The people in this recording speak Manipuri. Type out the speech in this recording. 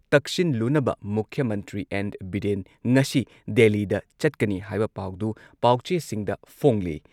ꯇꯛꯁꯤꯟꯂꯨꯅꯕ ꯃꯨꯈ꯭ꯌ ꯃꯟꯇ꯭ꯔꯤ ꯑꯦꯟ. ꯕꯤꯔꯦꯟ ꯉꯁꯤ ꯗꯦꯜꯂꯤꯗ ꯆꯠꯀꯅꯤ ꯍꯥꯏꯕ ꯄꯥꯎꯗꯨ ꯄꯥꯎꯆꯦꯁꯤꯡꯗ ꯐꯣꯡꯂꯤ꯫